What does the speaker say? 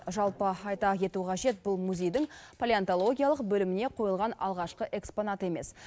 жалпы айта кету қажет бұл музейдің палеонтологиялық бөліміне қойылған алғашқы экспонат емес